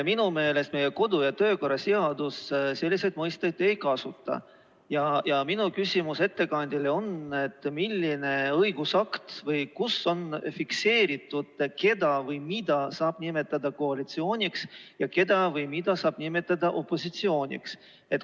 Minu meelest meie kodu- ja töökorra seadus selliseid mõisteid ei kasuta ja minu küsimus ettekandjale on: millises õigusaktis on see fikseeritud, keda või mida saab nimetada koalitsiooniks ja keda või mida saab nimetada opositsiooniks?